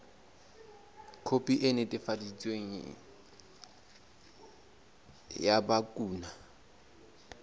khopi e netefaditsweng ya bukana